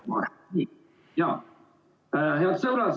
Head sõbrad!